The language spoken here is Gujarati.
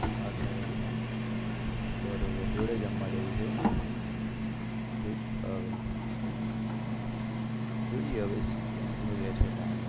બરોબર જોડે જમવા જાવું છે એવું જોઈએ હવે કેમનું રે છે timing